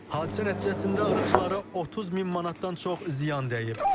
Hadisə nəticəsində arıçılara 30 min manatdan çox ziyan dəyib.